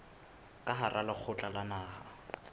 ka hara lekgotla la naha